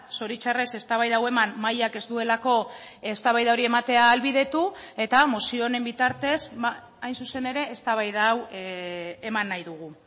zoritzarrez eztabaida hau eman mahaiak ez duelako eztabaida hori ematea ahalbidetu eta mozio honen bitartez hain zuzen ere eztabaida hau eman nahi dugu